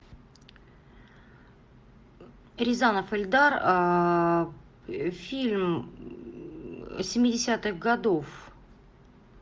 рязанов эльдар фильм семидесятых годов